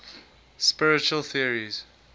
spiritual theories